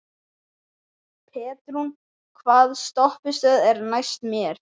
Petrún, hvaða stoppistöð er næst mér?